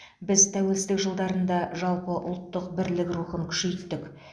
біз тәуелсіздік жылдарында жалпы ұлттық бірлік рухын күшейттік